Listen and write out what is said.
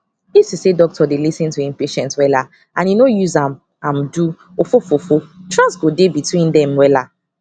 if to say doctor dey lis ten to him patient wella and e nor use am am do ofofofo trust go dey between dem wella